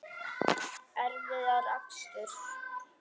Erfiðar aksturs